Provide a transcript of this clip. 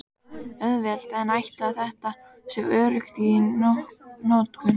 Auðvelt en ætli þetta sé öruggt í notkun?